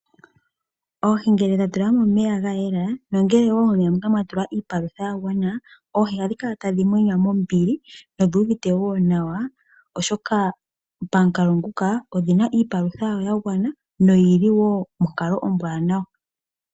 Oohi ngele dha tulwa momeya ga yela nongele wo momeya moka mwa tulwa iipalutha ya gwana, oohi ohadhi kala tadhi mwenya mombili nodhi uvite wo nawa, oshoka pamukalo nguka odhi na iipalutha yawo ya gwana noyili wo monkalo ombwaanawa.